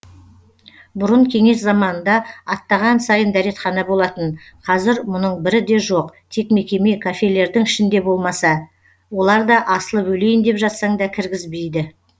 бұрын кеңес заманында аттаған сайын дәретхана болатын қазір мұның бірі де жоқ тек мекеме кафелердің ішінде болмаса олар да асылып өлейін деп жатсаң да кіргізбейді